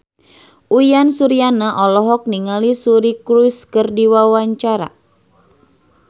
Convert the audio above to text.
Uyan Suryana olohok ningali Suri Cruise keur diwawancara